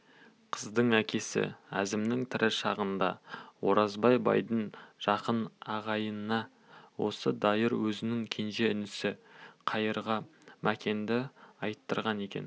қыздың әкесі әзімнің тірі шағында оразбай байдың жақын ағайыны осы дайыр өзінің кенже інісі қайырға мәкенді айттырған екен